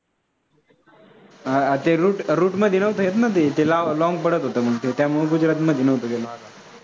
हां ते route मध्ये नव्हतं ना ते long पडतं होतं म्हणून त्यामुळे गुजरात नव्हतो गेलो आम्ही.